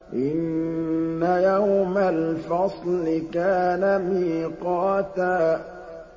إِنَّ يَوْمَ الْفَصْلِ كَانَ مِيقَاتًا